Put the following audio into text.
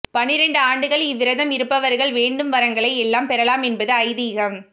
பன்னிரண்டு ஆண்டுகள் இவ்விரதம் இருப்பவர்கள் வேண்டும் வரங்களை எல்லாம் பெறலாம் என்பது ஐதீகம்